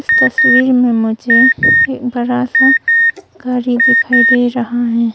तस्वीर में मुझे एक बड़ा सा गाड़ी दिखाई दे रहा है।